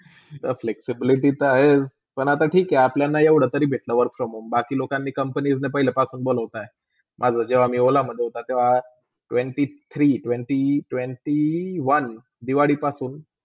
flexibility चा आहे पण आता ठीक आहे आपल्याला एवडातरी भेटला work from home बाकी लोकांनी company ला पहिले पासून बोलोतात, माझा जेव्हा मी ओला -मधे होते तेव्हा twenty-three, twenty twenty one Diwali पासून.